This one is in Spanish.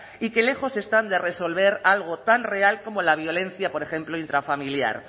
y que lejos están de resolver algo tan real como la violencia por ejemplo intrafamiliar